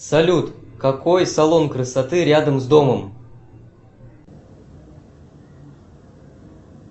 салют какой салон красоты рядом с домом